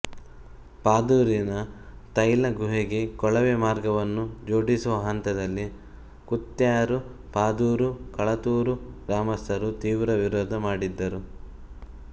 ಪಾದೂರಿನ ತೈಲಗುಹೆಗೆ ಕೊಳವೆ ಮಾರ್ಗವನ್ನು ಜೋಡಿಸುವ ಹಂತದಲ್ಲಿ ಕುತ್ಯಾರು ಪಾದೂರು ಕಳತ್ತೂರು ಗ್ರಾಮಸ್ಥರು ತೀವ್ರ ವಿರೋಧ ಮಾಡಿದ್ದರು